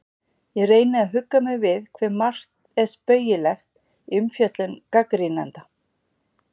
Ég reyni að hugga mig við hve margt er spaugilegt í umfjöllun gagnrýnenda.